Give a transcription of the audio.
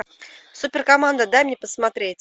суперкоманда дай мне посмотреть